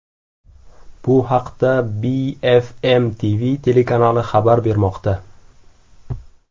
Bu haqda BFMTV telekanali xabar bermoqda .